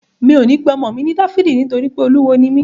Mi ò ní pe ọmọ mi ní Dáfídì nítorí pé Olúwo ni mí